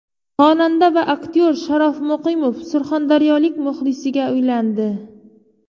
Xonanda va aktyor Sharof Muqimov surxondaryolik muxlisiga uylandi.